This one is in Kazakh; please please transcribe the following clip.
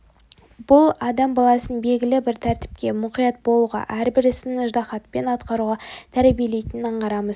бұл адам баласын белгілі бір тәртіпке мұқият болуға әрбір ісін ыждахатпен атқаруға тәрбиелейтінін аңғарамыз